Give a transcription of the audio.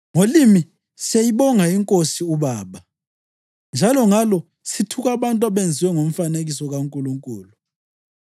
Ngolimi siyayibonga iNkosi uBaba, njalo ngalo sithuka abantu abenziwa ngomfanekiso kaNkulunkulu.